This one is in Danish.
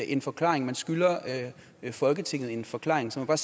en forklaring man skylder folketinget en forklaring så jeg